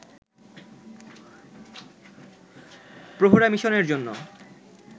প্রহরা মিশনের জন্য